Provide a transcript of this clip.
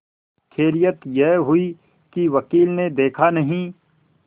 खैरियत यह हुई कि वकील ने देखा नहीं